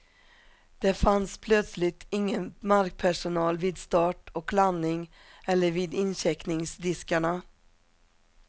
Det fanns plötsligt ingen markpersonal vid start och landning eller vid incheckningsdiskarna.